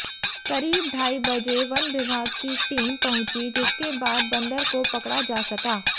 करीब ढाई बजे वन विभाग की टीम पहुंची जिसके बाद बंदर को पकड़ा जा सका